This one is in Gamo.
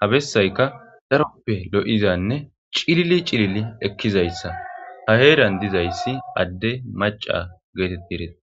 habessayka daroppe lo'izanne cilili cilili ekkizayssa ha heeran dizayssi adde maca geetetti eretes.